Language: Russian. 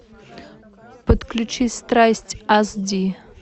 подключи страсть ас ди